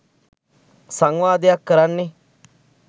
සංවාදයක් කරන්නේ